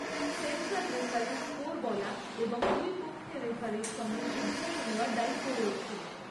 Central রেফারির score বলা এবং দুই পক্ষের রেফারির সঙ্গে সিদ্ধান্ত নেওয়ার দায়িত্ব রয়েছে।